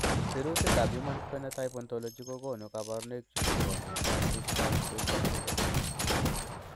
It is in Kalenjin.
Sirutikab Human Phenotype Ontology kokonu koborunoikchu chebo miondab Fitzsimmons Guilbert syndrome.